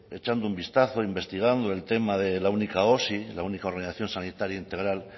echando un vistazo investigando el tema de la única osi la única ordenación sanitaria integral